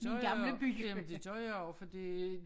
Det gør jeg jamen det gør jeg også fordi